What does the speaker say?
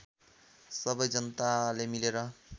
सबै जनताले मिलेर